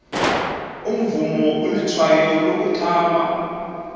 umvumo ulitshwayo lokuthaba